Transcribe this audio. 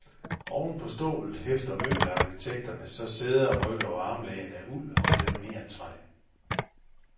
Oven på stålet hæfter møbelarkitekterne så sæder, rygge og armlæn af uld og lamineret træ.